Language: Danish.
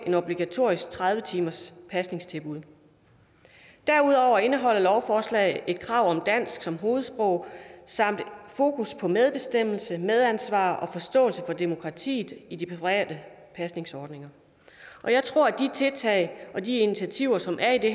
et obligatorisk tredive timers pasningstilbud derudover indeholder lovforslaget et krav om dansk som hovedsprog samt fokus på medbestemmelse medansvar og forståelse for demokratiet i de private pasningsordninger jeg tror at de tiltag og de initiativer som er i det